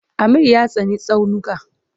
Amir ya tsani tsaunuka.